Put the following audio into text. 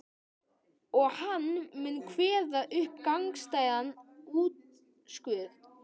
Og hann mun kveða upp gagnstæðan úrskurð.